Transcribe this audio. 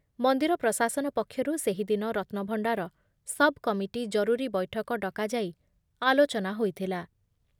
ମନ୍ଦିର ପ୍ରଶାସନ ପକ୍ଷରୁ ସେହିଦିନ ରତ୍ନଭଣ୍ଡାର ସବ୍‌କମିଟି ଜରୁରୀ ବୈଠକ ଡକାଯାଇ ଆଲୋଚନା ହୋଇଥିଲା ।